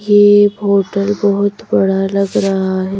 ये होटल बहुत बड़ा लग रहा है।